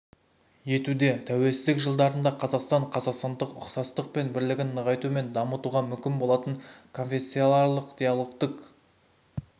етуде тәуелсіздік жылдарында қазақстанда қазақстандық ұқсастық пен бірлігін нығайту мен дамытуға мүмкін болатын конфессияаралық диалогтық